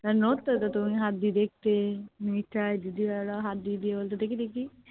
নড়ত তো তুমি হাত দিয়ে দেখতে হাত দিয়ে দিয়ে বলতে দেখি দেখি